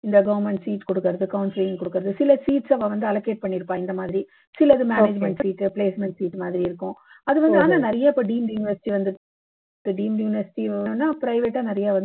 இந்த government seats கொடுக்குறது counseling கொடுக்குறது சில seats அ அவா வந்து allocate பண்ணிருப்பா இந்த மாதிரி சிலது management seat placement seat மாதிரி இருக்கும் அது வந்து ஆனா நிறைய இப்போ deemed university வந்துருக்கு deemed university வேணும்னா private ஆ நிறைய